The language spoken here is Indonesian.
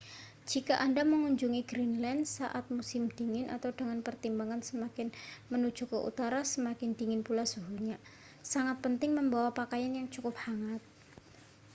jika anda mengunjungi greenland saat musim dingin dengan pertimbangan semakin menuju ke utara semakin dingin pula suhunya sangat penting membawa pakaian yang cukup hangat